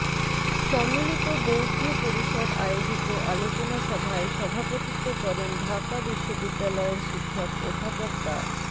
সম্মিলিত বৌদ্ধ পরিষদ আয়োজিত আলোচনা সভায় সভাপতিত্ব করেন ঢাকা বিশ্ববিদ্যালয়ের শিক্ষক অধ্যাপক ডা